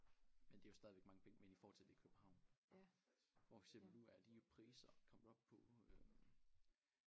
Men det jo stadigvæk mange penge men i forhold til det København hvor for eksempel nu er de priser kommet op på øh